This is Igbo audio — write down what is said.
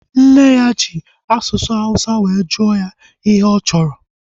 Nne ya ji asụsụ awụsa were jụọ ya ihe ọ chọrọ